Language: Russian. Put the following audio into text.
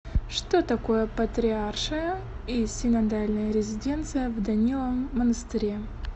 что такое патриаршая и синодальная резиденция в даниловом монастыре